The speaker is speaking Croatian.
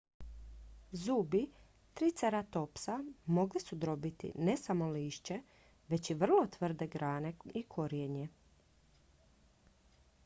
zubi triceratopsa mogli su drobiti ne samo lišće već i vrlo tvrde grane i korijenje